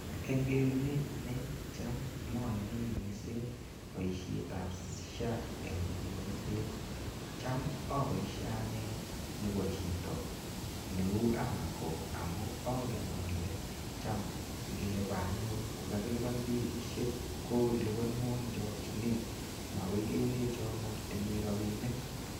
Eng kerunenyu anne cham mayani mising boisietab SHA eng konyoiset. Cham aboisie anne nebo chito neu AMACO amu angen ale chamngebe anyun ko kagilupan bilisiek ko lupanuo eng chokchinet, makoi kelecho magitinye rapinik.